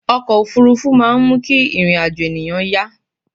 ọkọ̀ òfurufú máà ń mú kí ìrìn àjọ̀ ènìyàn yá